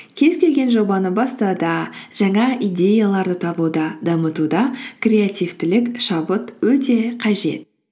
кез келген жобаны бастауда жаңа идеяларды табуда дамытуда креативтілік шабыт өте